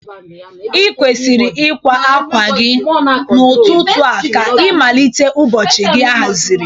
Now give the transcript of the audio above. I kwesiri ịkwa akwa gị n'ụtụtụ a ka ịmalite ụbọchị gị ahaziri.